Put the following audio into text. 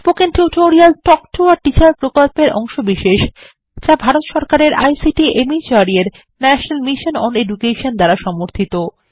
spoken tutorial talk to a teacher প্রকল্পের অংশবিশেষ যা ভারত সরকারের আইসিটি মাহর্দ এর ন্যাশনাল মিশন ওন এডুকেশন দ্বারা সমর্থিত